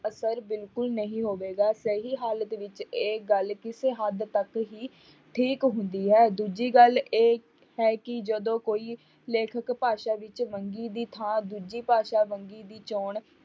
ਅਸਰ ਬਿਲਕੁਲ ਨਹੀਂ ਹੋਵੇਗਾ ਸਹੀ ਹਾਲਤ ਵਿੱਚ ਇਹ ਗੱਲ ਕਿਸੇ ਹੱਦ ਤੱਕ ਹੀ ਠੀਕ ਹੁੰਦੀ ਹੈ, ਦੂਜੀ ਗੱਲ ਇਹ ਹੈ ਕਿ ਜਦੋਂ ਕੋਈ ਲੇਖਕ ਭਾਸ਼ਾ ਵਿੱਚ ਵੰਨਗੀ ਦੀ ਥਾਂ ਦੂਜੀ ਭਾਸ਼ਾ ਵੰਨਗੀ ਦੀ ਚੌਣ